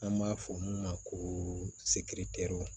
An b'a fɔ mun ma ko